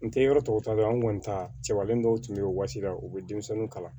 N tɛ yɔrɔ tɔw tɔ ta dɔn an kɔni ta cɛbalen dɔw tun bɛ yen o waagati la u bɛ denmisɛnninw kalan